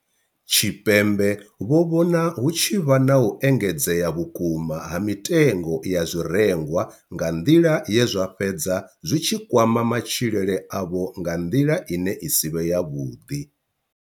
Tshipembe vho vhona hu tshi vha na u engedzea vhukuma ha mitengo ya zwirengwa nga nḓila ye zwa fhedza zwi tshi kwama matshilele avho nga nḓila ine ya si vhe yavhuḓi.